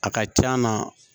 A ka c'an na